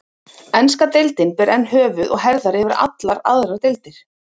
Enska deildin ber enn höfuð og herðar yfir allar aðrar deildir.